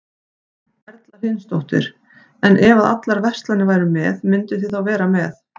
Erla Hlynsdóttir: En ef að allar verslanir væru með, mynduð þið þá vera með?